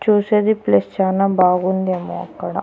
చూసేది ప్లేస్ చానా బాగుంది ఏమో అక్కడ.